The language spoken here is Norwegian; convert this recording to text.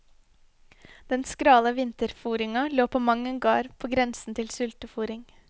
Den skrale vinterfôringa lå på mang en gard på grensen til sultefôring.